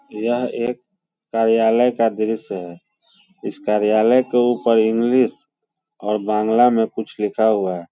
यह एक कार्यालय का दृश्य है। इस कार्यालय के ऊपर इंग्लिश और बांग्ला में कुछ लिखा हुआ है।